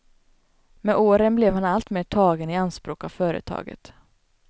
Med åren blev han alltmer tagen i anspåk av företag.